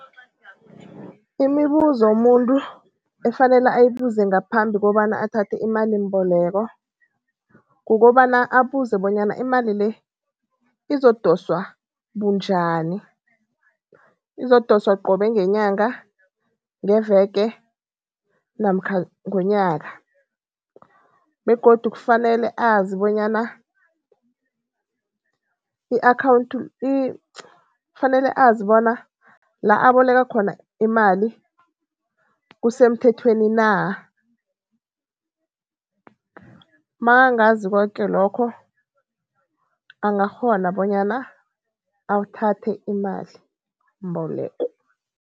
Imibuzo umuntu efanele ayibuze ngaphambi kobana athathe imalimboleko, kukobana abuze bonyana, imali le izokudoswa bunjani? Izokudoswa qobe ngenyanga, ngeveke namkha ngonyaka? Begodu kufanele azi bonyana kufanele azi bona la aboleka khona imali kusemthethweni na, nakangazi koke lokho angakghona bonyana athathe imalimboleko.